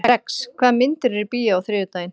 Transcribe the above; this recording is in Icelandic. Rex, hvaða myndir eru í bíó á þriðjudaginn?